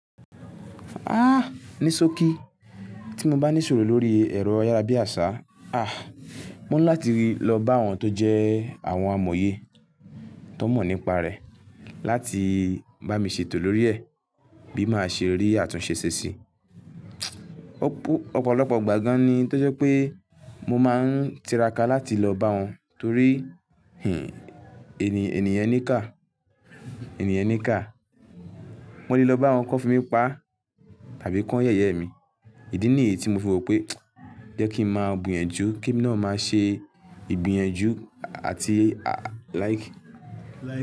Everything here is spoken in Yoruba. Ah! Nísókí tí mo bá nìṣòro lórí ẹ̀rọ ayárabíàṣá, ah! Mo ń láti ri lọ bá àwọn tó jẹ́ àwọn amòye tó mọ̀ nípa rẹ̀ láti bá mi ṣètò lórí ẹ̀ bilí màá ṣe àtúnṣe ṣe sí. Ọ̀pọ̀lọpọ̀ ìgbà gan ni tó jẹ́ pe mo má ń tiraka láti lọ bá wọn torí, hin, ènìyàn níkà, ènìyàn níkà. Mo le lọ bá wọn kí wọ́n fi mí paá tàbí kí wọ́n yẹ̀yẹ́ mi. Ìdí nìyií ti mo fi wò pé jẹ́ kí n máa gbìyànjù kí èmi náà má ṣe ibin ìgbìyànjú àti like.